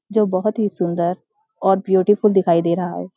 जो बहोत ही सुन्‍दर और ब्यूटीफुल दिखाई दे रहा है।